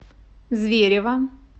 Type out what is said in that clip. зверево